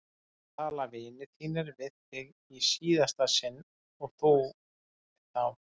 Nú tala vinir þínir við þig í síðasta sinn og þú við þá!